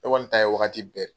Ne kɔni ta ye wagati bɛɛ.